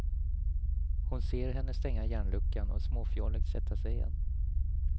Hon ser henne stänga järnluckan och småfjolligt sätta sig igen.